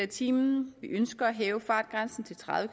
time vi ønsker at hæve fartgrænsen til tredive